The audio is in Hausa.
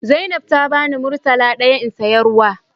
Zainab ta bani murtala daya in siya ruwa.